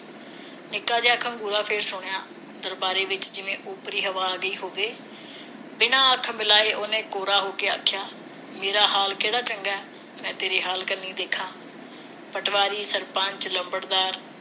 ਨਿੱਕਾ ਜਿਹਾ ਖੰਗੂਰਾ ਫਿਰ ਸੁਣਿਆ ਦਰਬਾਰਾ ਦੇ ਵਿਚ ਜਿਵੇ ਉਪਰੀ ਹਵਾ ਗਈ ਹੋਵੇ ਬਿਨਾਂ ਹੱਥ ਮਿਲਾਏ ਉਸ ਨੇ ਕੌੜਾ ਹੋ ਕੇ ਆਖਿਆ ਮੇਰਾ ਹਾਲ ਕਿਹੜਾ ਚੰਗਾ ਮੈਂ ਤੇਰੇ ਹਾਲ ਕੰਨੀ ਦੇਖਾ ਪਟਵਾਰੀ ਸਰਪੰਚ ਲੰਬੜਦਾਰ